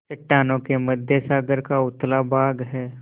चट्टानों के मध्य सागर का उथला भाग है